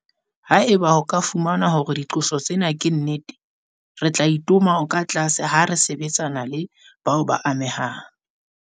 Haeba ho ka fumanwa hore diqoso tsena ke nnete, re tla itoma o katlase ha re sebetsana le bao ba amehang.